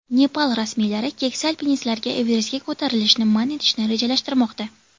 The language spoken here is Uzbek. Nepal rasmiylari keksa alpinistlarga Everestga ko‘tarilishni man etishni rejalashtirmoqda.